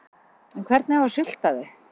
En hvernig á að sulta þau?